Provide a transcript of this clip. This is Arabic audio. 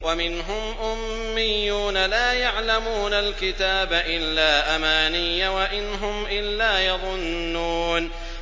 وَمِنْهُمْ أُمِّيُّونَ لَا يَعْلَمُونَ الْكِتَابَ إِلَّا أَمَانِيَّ وَإِنْ هُمْ إِلَّا يَظُنُّونَ